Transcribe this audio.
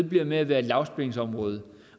ved med at være et lavspændingsområde